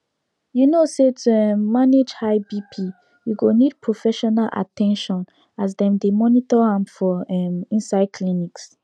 you no say to um manage high bp you go need professional at ten tion as dem dey monitor am for um inside clinics